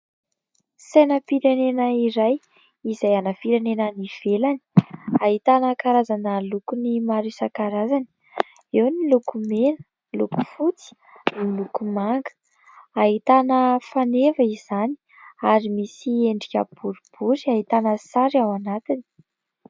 Sainam-pirenena iray izay ana firenena any ivelany. Ahitana karazana lokony maro izan-karazany : eo ny loko mena, ny loko fotsy, ny loko manga. Ahitana faneva izany ary misy endrika boribory ahitana sary ao anatiny.